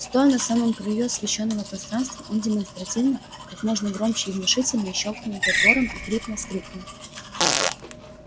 стоя на самом краю освещённого пространства он демонстративно как можно громче и внушительней щёлкнул затвором и хрипло крикнул